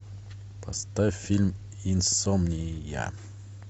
поставь фильм инсомния